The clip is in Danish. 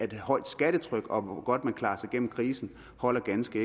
et højt skattetryk og hvor godt man klarer sig gennem krisen holder ganske